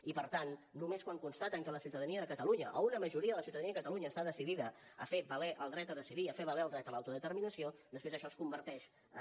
i per tant només quan constaten que la ciutadania de catalunya o una majoria de la ciutadania de catalunya està decidida a fer valer el dret a decidir i a fer valer el dret a l’autodeterminació després això es converteix en